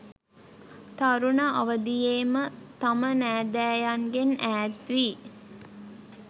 තරුණ අවදියේම තම නෑදෑයන්ගෙන් ඈත්වී